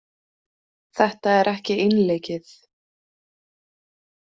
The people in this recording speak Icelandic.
Þetta er ekki einleikið.